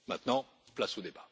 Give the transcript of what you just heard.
Maintenant, place au débat!